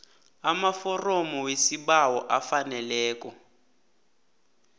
amaforomo wesibawo afaneleko